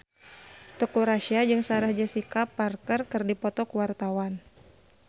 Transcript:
Teuku Rassya jeung Sarah Jessica Parker keur dipoto ku wartawan